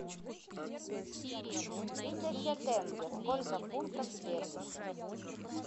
тысяча тенге сколько фунтов стерлингов